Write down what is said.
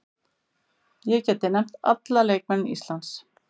Ég gæti nefnt alla leikmenn Íslands.